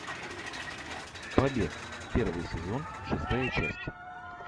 побег первый сезон шестая часть